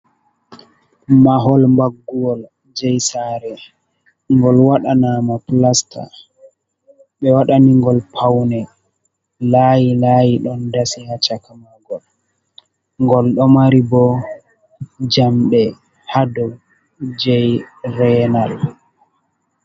Mahol mbagguwol jei sare ngol waɗana mo plasta be wadani gol paune laayi layi ɗon dasi ha cakamugol gol ɗo mari bo jamɗe haɗo jei veenal.